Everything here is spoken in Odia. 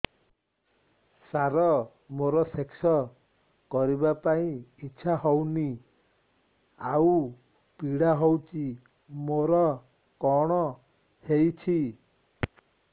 ସାର ମୋର ସେକ୍ସ କରିବା ପାଇଁ ଇଚ୍ଛା ହଉନି ଆଉ ପୀଡା ହଉଚି ମୋର କଣ ହେଇଛି